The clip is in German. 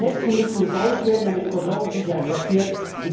Die Netze müssen gebaut werden, damit Versorgungssicherheit entsteht.